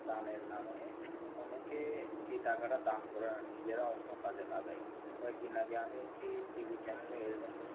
দানের নামে অনেকে এ টাকাটা দান করে না নিজেরা অন্য কাজে লাগায় কয়েক দিন আগে একটা TV Channel এ রকম